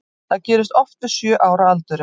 Það gerist oft við sjö ára aldur.